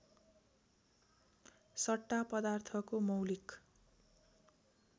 सट्टा पदार्थको मौलिक